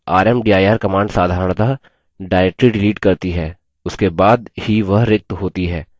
लेकिन rmdir command साधरणतः directory delete करती है उसके बाद ही वह रिक्त होती है